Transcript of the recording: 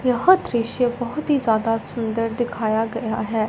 यह दृश्य बहोत ही ज्यादा सुन्दर दिखाया गया है।